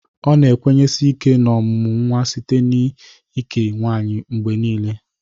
Ọ ga na-ekwenyesi ike n'ọmụmụ nwa site n'ike nwaanyị mgbe niile.